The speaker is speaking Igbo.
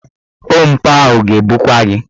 Ompa ahụ ga-ebukwa gị.